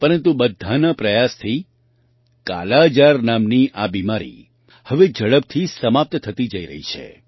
પરંતુ બધાના પ્રયાસથી કાલાજાર નામની આ બીમારી હવે ઝડપથી સમાપ્ત થતી જઈ રહી છે